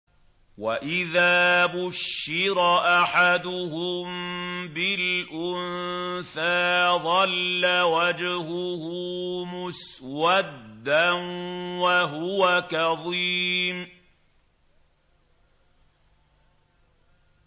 وَإِذَا بُشِّرَ أَحَدُهُم بِالْأُنثَىٰ ظَلَّ وَجْهُهُ مُسْوَدًّا وَهُوَ كَظِيمٌ